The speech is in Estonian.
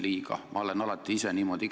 Ma ise olen seda alati teinud.